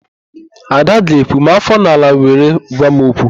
Ada ga-ekwu, "maa áfọ n'ala were gwa m okwu"!